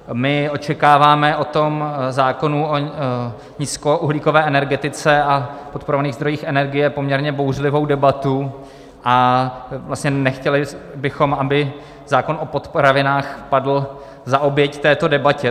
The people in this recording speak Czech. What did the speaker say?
My očekáváme o tom zákonu o nízkouhlíkové energetice a podporovaných zdrojích energie poměrně bouřlivou debatu a vlastně nechtěli bychom, aby zákon o potravinách padl za oběť této debatě.